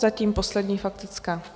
Zatím poslední faktická.